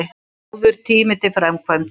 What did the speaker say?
Góður tími til framkvæmda